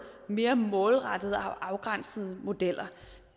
mere målrettede og afgrænsede modeller